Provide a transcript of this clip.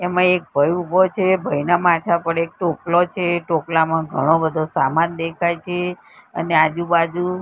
એમા એક ભઈ ઉભો છે ભઈના માથા પર એક ટોપલો છે ટોપલામાં ઘણો બધો સામાન દેખાય છે અને આજુ બાજુ.